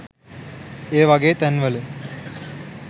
ඒ වගේ තැන්වල